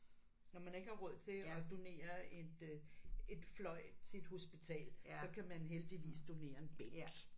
Når man ikke har råd til at donere et et fløj til et hospital så kan man heldigvis donere en bænk